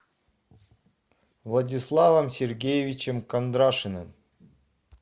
владиславом сергеевичем кондрашиным